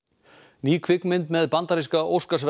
ný kvikmynd með bandaríska